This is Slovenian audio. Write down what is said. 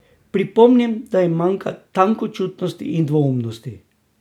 Pripomnim, da jim manjka tenkočutnosti in dvoumnosti.